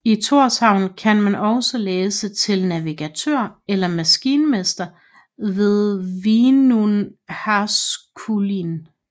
I Tórshavn kan man også læse til navigatør eller maskinmester ved Vinnuháskúlin